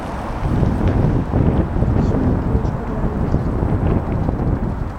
включи мне киношку реальность